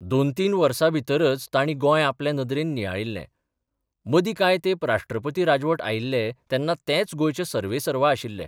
दोन तीन वर्साभितरच तांणी गोंय आपले नदरेन नियाळिल्ले मदी कांय तेंप राष्ट्रपती राजवट आयिल्ले तेन्ना तेच गोंयचे सर्वेसर्वा आशिल्ले.